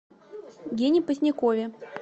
гене позднякове